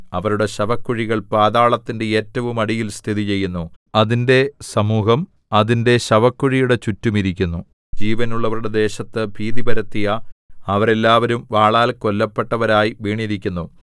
അവരുടെ ശവക്കുഴികൾ പാതാളത്തിന്റെ ഏറ്റവും അടിയിൽ സ്ഥിതിചെയ്യുന്നു അതിന്റെ സമൂഹം അതിന്റെ ശവക്കുഴിയുടെ ചുറ്റും ഇരിക്കുന്നു ജീവനുള്ളവരുടെ ദേശത്തു ഭീതിപരത്തിയ അവരെല്ലാവരും വാളാൽ കൊല്ലപ്പെട്ടവരായി വീണിരിക്കുന്നു